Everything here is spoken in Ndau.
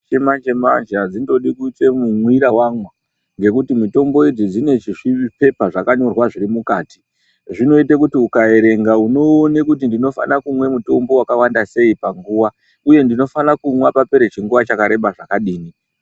Chimanje manje adzindodi kundoite mumwira wamwa ngekuti mutombo idzi dzine chi zvipepa zvakanyorwa zviri mukati zvinoite kuti ukaerenga unoone kuti ndinofana kumwa mutombo wakawanda sei panguwa uye ndinofana kumwa papera chinguwa chakareba chakadini.